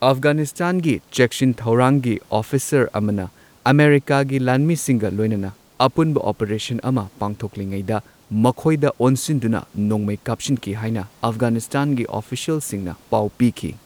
ꯑꯐꯒꯥꯅꯤꯁꯇꯥꯟꯒꯤ ꯆꯦꯛꯁꯤꯟ ꯊꯧꯔꯥꯡꯒꯤ ꯑꯣꯐꯤꯁꯥꯔ ꯑꯃꯅ ꯑꯃꯦꯔꯤꯀꯥꯒꯤ ꯂꯥꯟꯃꯤꯁꯤꯡꯒ ꯂꯣꯏꯅꯅ ꯑꯄꯨꯟꯕ ꯑꯣꯄꯔꯦꯁꯟ ꯑꯃ ꯄꯥꯡꯊꯣꯛꯂꯤꯉꯩꯗ ꯃꯈꯣꯢꯗ ꯑꯣꯟꯁꯤꯟꯗꯨꯅ ꯅꯣꯡꯃꯩ ꯀꯥꯞꯁꯤꯟꯈꯤ ꯍꯥꯏꯅ ꯑꯐꯒꯥꯅꯤꯁꯇꯥꯟꯒꯤ ꯑꯣꯐꯤꯁꯤꯌꯦꯜꯁꯤꯡꯅ ꯄꯥꯎ ꯄꯤꯈꯤ꯫